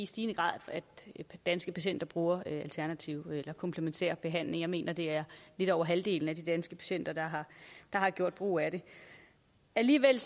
stigende grad at danske patienter bruger alternative eller komplementære behandlinger jeg mener det er lidt over halvdelen af de danske patienter der har gjort brug af det alligevel